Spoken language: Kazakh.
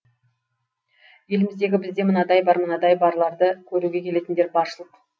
еліміздегі бізде мынадай бар мынадай барларды көруге келетіндер баршылық